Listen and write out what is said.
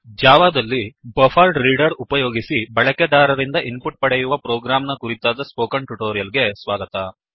ಜಾವಾದಲ್ಲಿ buffered reader buffer reader ಉಪಯೋಗಿಸಿ ಬಳಕೆದಾರರಿಂದ ಇನ್ ಪುಟ್ ಪಡೆಯುವ ಪ್ರೋಗ್ರಾಂ ನ ಕುರಿತಾದ ಸ್ಪೋಕನ್ ಟ್ಯುಟೋರಿಯಲ್ ಗೆ ಸ್ವಾಗತ